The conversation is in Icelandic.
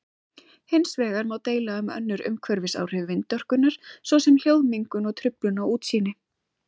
Hins vegar má deila um önnur umhverfisáhrif vindorkunnar svo sem hljóðmengun og truflun á útsýni.